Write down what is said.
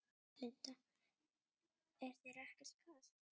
Linda: Er þér ekki kalt?